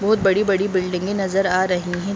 बहोत बड़ी-बड़ी बिल्डिंगे नजर आ रही हैं।